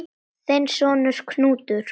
Þinn sonur, Knútur.